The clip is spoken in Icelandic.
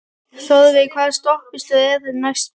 Þórveig, hvaða stoppistöð er næst mér?